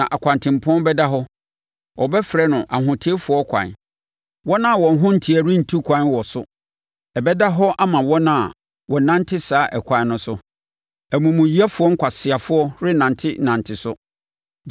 Na ɔkwantempɔn bɛda hɔ; wɔbɛfrɛ no Ahoteefoɔ Kwan. Wɔn a wɔn ho nteɛ rentu ɛkwan wɔ so; ɛbɛda hɔ ama wɔn a wɔnante saa Ɛkwan no so; amumuyɛfoɔ nkwaseafoɔ rennante nante so.